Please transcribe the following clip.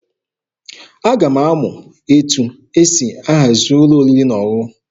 Aga m amụ etu esi ahazi ụlọ oriri na ọṅụṅụ.